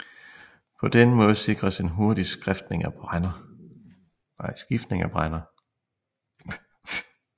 På denne måde sikres en hurtig skiftning af brænder